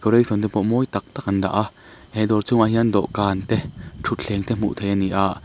te pawh mawi tak tak an dah a he dawr chhungah hian dawhkan te ṭhutthleng te hmuh theih a ni a--